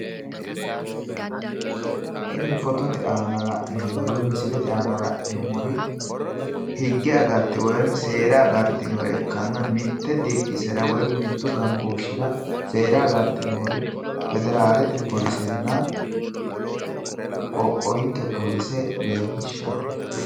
Tinni foottote la'neemmoti misile leelishanohu aliidi Federalete Qodhaanonna Sidaamu Qoqqowi Qodhaano noota leelishanno.